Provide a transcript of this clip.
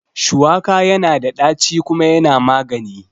Shuwaka yana da ɗaci kuma yana magani